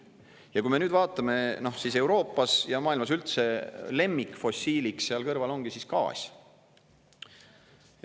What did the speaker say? Ja kui me nüüd vaatame, siis Euroopas ja maailmas üldse lemmikfossiiliks seal kõrval ongi siis gaas.